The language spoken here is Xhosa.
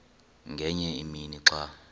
ngenye imini xa